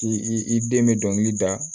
K' i den bɛ dɔnkili da